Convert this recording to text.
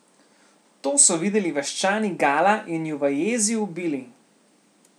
To so videli vaščani Gala in ju v jezi ubili.